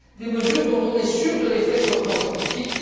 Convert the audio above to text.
mesures dont on est sûr de l'effet sur le plan scientifique.